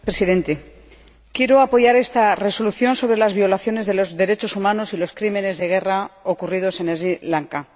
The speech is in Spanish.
Señor Presidente, quiero apoyar esta Resolución, que versa sobre las violaciones de los derechos humanos y los crímenes de guerra ocurridos en Sri Lanka.